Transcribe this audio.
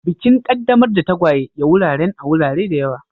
Bikin qaddamar da tagwaye ya wuraren a wurare da yawa.